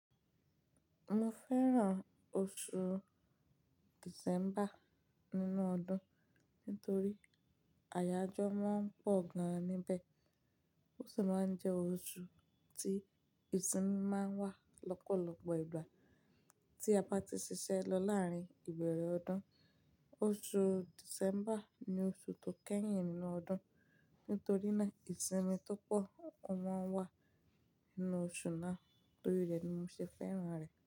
Mo fẹ́ràn oṣù December nínú ọdún nítorí àyájọ́ máa ń pọ̀ gan níbẹ̀. Oṣù náà jẹ́ oṣù tí ìsinmi máa ń wá lọ́pọ̀lọpọ̀ ìgbà tí a bá ti ṣiṣẹ́ lọ láàárín ìbẹ̀rẹ̀ ọdún. Oṣù December ni oṣù tó kẹ́yìn nínú ọdún nítorí náà ìsinmi tó pọ̀ máa ń wá nínú oṣù náà torí rẹ̀ ni mo ṣe fẹ́ràn rẹ̀.